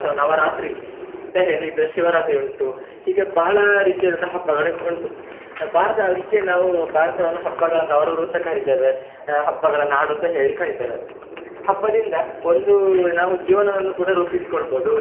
ಅಥವಾ ನವರಾತ್ರಿ ಅಂತ ಹೇಳಿದ್ರೆ, ಶಿವರಾತ್ರಿ ಉಂಟು ಹೀಗೆ ಬಹಳ ರೀತಿಯಾದಂತಹ ಹಬ್ಬಗಳು ಉಂಟು, ಭಾರತ ಅದಿಕ್ಕೆ ನಾವು ಭಾರತವನ್ನು ಹಬ್ಬಗಳ ತವರೂರು ಅಂತ ಕರಿತ್ತೇವೆ ಅ ಹಬ್ಬಗಳ ನಾಡು ಅಂತ ಹೇಳಿ ಕರಿತ್ತೇವೆ, ಹಬ್ಬದಿಂದ ಒಂದು ನಾವು ಜೀವನವನ್ನು ಕೂಡ ರೂಪಿಸಿಕೊಳ್ಬೋದು.